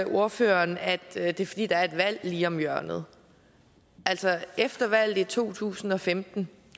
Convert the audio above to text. ordføreren at det er fordi der er et valg lige om hjørnet altså efter valget i to tusind og femten